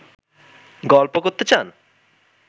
গল্প করতে চান